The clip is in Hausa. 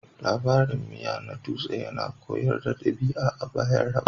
Labarin miya na dutse yana koyar da ɗabi'a a bayan raba